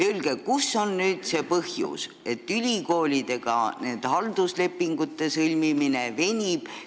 Öelge, kus on see põhjus, miks halduslepingute sõlmimine ülikoolidega venib.